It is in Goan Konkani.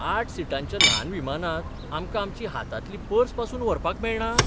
आठ सिटांच्या ल्हान विमानांत आमकां आमची हातांतली पर्स पासून व्हरपाक मेळना?